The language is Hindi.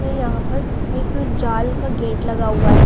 ये यहां पर एक जाल का गेट लगा हुआ--